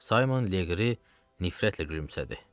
Sayman Leqri nifrətlə gülümsədi.